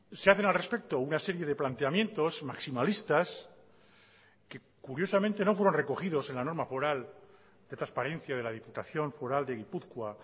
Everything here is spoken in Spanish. se hacen al respecto una serie de planteamientos maximalistas que curiosamente no fueron recogidos en la norma foral de transparencia de la diputación foral de gipuzkoa